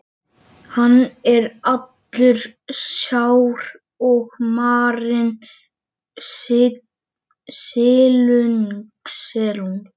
Gelgjutanga og er surtarbrandur á milli.